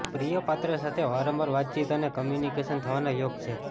પ્રિયપાત્ર સાથે વારંવાર વાતચીત અને કમ્યુનિકેશન થવાના યોગ છે